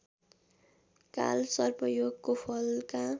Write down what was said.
कालसर्पयोगको Falka